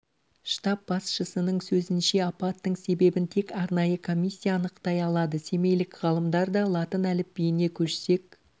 штаб басшысының сөзінше апаттың себебін тек арнайы комиссия анықтай алады семейлік ғалымдар да латын әліпбиіне көшсек